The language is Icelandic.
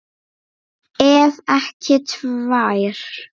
Ef ekki tvær.